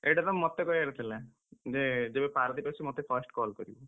ଏଇଟାତ ମତେ କହିଆର ଥିଲା, ଯେ ଯେବେ ପାରାଦ୍ୱୀପ ଆସିବୁ ମତେ first call କରିବୁ।